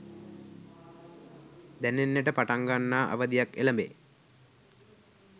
දැනෙන්නට පටන් ගන්නා අවධියක් එළඹේ